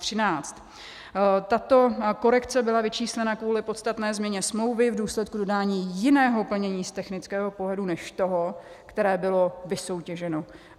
Tato korekce byla vyčíslena kvůli podstatné změně smlouvy v důsledku dodání jiného plnění z technického pohledu než toho, které bylo vysoutěženo.